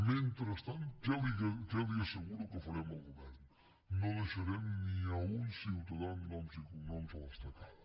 mentrestant què li asseguro que farem el govern no deixarem ni un ciutadà amb noms i cognoms a l’estacada